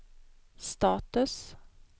status